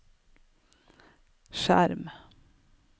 skjerm